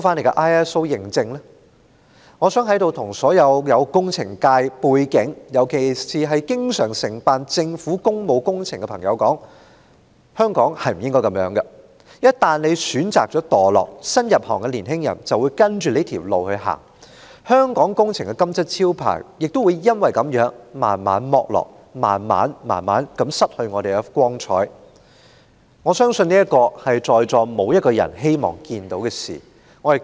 我想在此向所有具工程界背景，尤其是經常承辦政府工務工程的朋友說，香港不應該這樣，業界一旦選擇墮落，新入行業的年青人便會跟着走這條路，香港工程的"金漆招牌"隨之逐漸剝落，香港也會逐漸失去光彩，相信在席的所有人都不願看到這種局面。